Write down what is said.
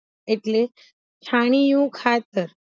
એટલે છાનીયું ખાતર